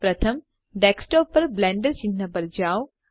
પ્રથમ ડેસ્કટોપ પર બ્લેન્ડર ચિહ્ન પર જાઓ